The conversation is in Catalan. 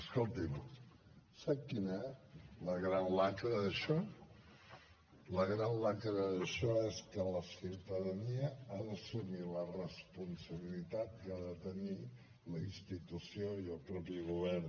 escolti’m sap quina és la gran lacra d’això la gran lacra d’això és que la ciutadania ha d’assumir la responsabilitat que ha de tenir la institució i el mateix govern